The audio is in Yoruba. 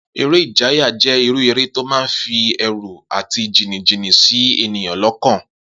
Eré ìjayà jé̩ irú eré tó máa ń fi è̩rù àti jìnnìjìnnì sí ènìyàn ló̩kàn